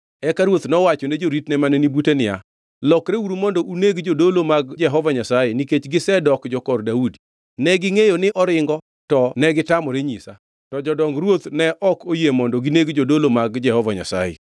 Eka ruoth nowachone joritne mane ni bute niya, “Lokreuru mondo uneg jodolo mag Jehova Nyasaye, nikech gisedok jokor Daudi. Negingʼeyo ni oringo to negitamore nyisa.” To jodong ruoth ne ok oyie mondo gineg jodolo mag Jehova Nyasaye.